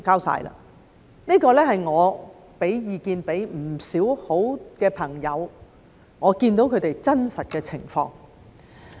這是要求我提供意見的不少朋友的真實情況。